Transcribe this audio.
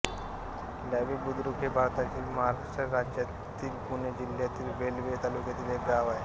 लाव्हीबुद्रुक हे भारताच्या महाराष्ट्र राज्यातील पुणे जिल्ह्यातील वेल्हे तालुक्यातील एक गाव आहे